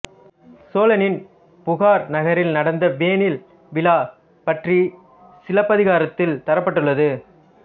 சோழனின் புகார் நகரில் நடந்த வேனில் விழா பற்றிச் சிலப்பதிகாரத்தில் தரப்பட்டுள்ளது